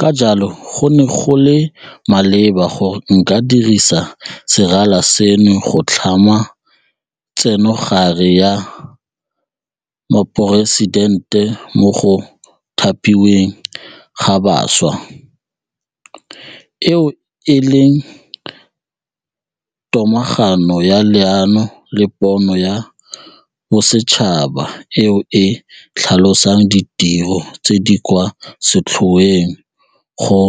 Ka jalo, go ne go le maleba gore nka dirisa serala seno go tlhama Tsenogare ya Moporesitente mo go Thapiweng ga Bašwa, eo e leng tomagano ya leano le pono ya bosetšhaba eo e tlhalosang ditiro tse di kwa setlhoeng go